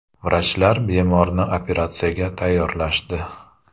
Vrachlar bemorni operatsiyaga tayyorlashdi.